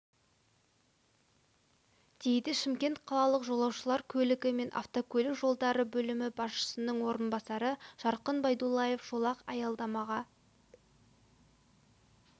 дейді шымкент қалалық жолаушылар көлігі және автокөлік жолдары бөлімі басшысының орынбасары жарқын байдуллаев жолақ аялдамаға